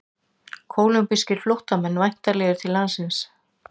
Kólumbískir flóttamenn væntanlegir til landsins